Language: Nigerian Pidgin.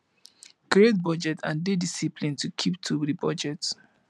create budget and dey disciplined to keep to di budget